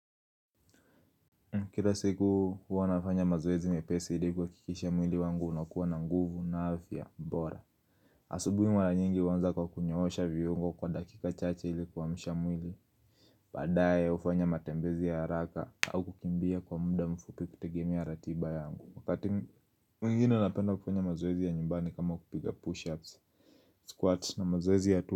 Kila siku huwa nafanya mazoezi mepesi hili kwa kikisha mwili wangu unakuwa na nguvu na afya bora asubui mara nyingi huanza kwa kunyoossha viungo kwa dakika chache ili kuamsha mwili Badae ufanya matembezi ya haraka au kukimbia kwa muda mfupi kutegemi ya ratiba yangu Wakati mingine napenda ufanya mazoezi ya nyumbani kama kupiga push-ups, squats na mazoezi ya tu.